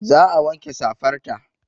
Za a wanke safar ta